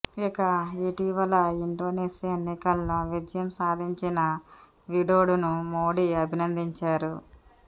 ఇక ఇటీవల ఇండోనేషియా ఎన్నికల్లో విజయం సాధించిన విడొడోను మోడీ అభినందించారు